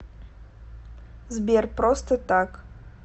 сбер просто так